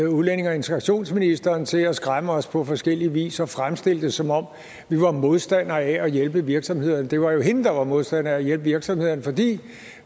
udlændinge og integrationsministerens side at skræmme os på forskellig vis og fremstille det som om vi var modstandere af at hjælpe virksomhederne det var jo hende der var modstander af at hjælpe virksomhederne for vi